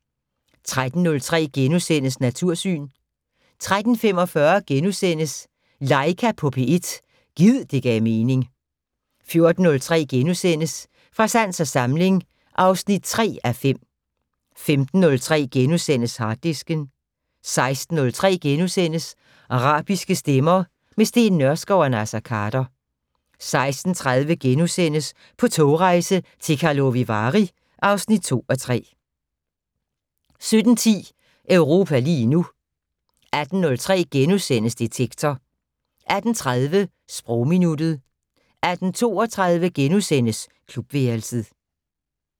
13:03: Natursyn * 13:45: Laika på P1 - gid det gav mening * 14:03: Fra sans og samling (3:5)* 15:03: Harddisken * 16:03: Arabiske stemmer - med Steen Nørskov og Naser Khader * 16:30: På togrejse til Karlovy Vary (2:3)* 17:10: Europa lige nu 18:03: Detektor * 18:30: Sprogminuttet 18:32: Klubværelset *